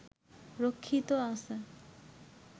রক্ষিত আছে